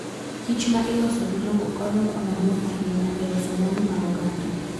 kichma iloso gi lowo konyo kama duong' ahinya e loso mwandu mag oganda.